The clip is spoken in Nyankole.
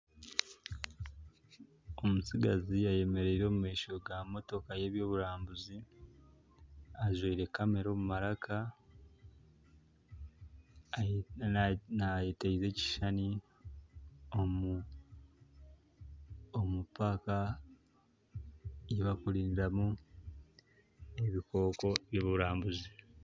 Omutsigazi ayemereire omu maisho g'emotooka y'eby'oburambuzi ajwaire kamera omu maraka naayeteeza ekishuushani omu paaka ei bakurindiramu ebikooko by'oburambuzi.